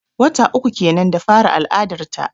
Wata uku kenan da fara al'adar ta.